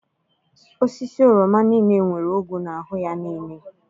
Osisi oroma niile nwere ogwu n'ahụ ya niile.